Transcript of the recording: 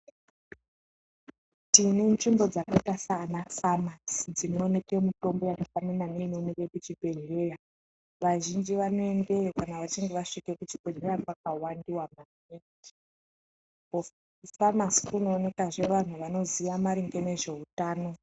Tine nzvimbo dzakaita sanafamasi dzinooneke mitombo yakafanana neinooneke kuchibhedhleya. Vazhinji vanoendeyo kana vachinge vasvika kuchibhedhleya kwakawandiwa maningi. Kufamasi kunoonekezve vanhu vanoziya maringe nezvemishonga.